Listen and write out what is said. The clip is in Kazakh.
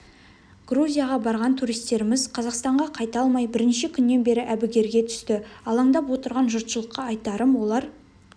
грузияға барған туристеріміз қазақстанға қайта алмай бірнеше күннен бері бігерге түсті алаңдап отырған жұртшылыққа айтарым олар